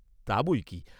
"তা বৈকি?"